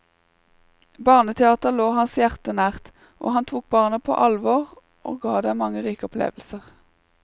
Barneteater lå hans hjerte nært, han tok barna på alvor og ga dem mange rike opplevelser.